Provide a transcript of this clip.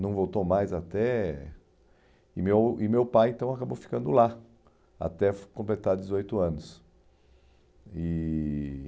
Não voltou mais até... E meu e meu pai, então, acabou ficando lá até completar dezoito anos. E...